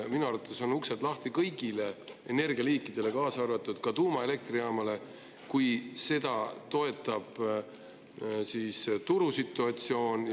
Minu arvates on uksed lahti kõigile energialiikidele, kaasa arvatud tuumaelektrijaamale, kui seda toetab turusituatsioon.